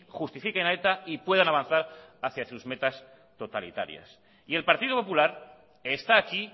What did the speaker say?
justifiquen a eta y puedan avanzar hacia sus metas totalitarias y el partido popular está aquí